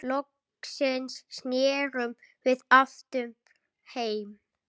Loksins snerum við aftur heim.